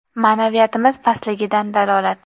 Ma’naviyatimiz pastligidan dalolat!..